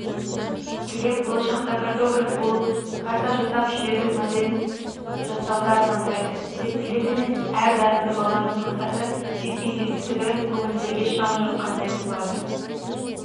глеб болашақта картограф болып карта жасап жердің моделін жасаудыармандайды тек глеб емес әр дарынды баланың мақсаты жеткен жетістігі көңілдерге шам жаққандай болады